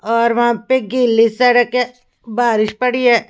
और वहां पे गीली सड़क है बारिश पड़ी है।